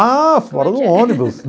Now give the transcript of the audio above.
Ah, fora do ônibus.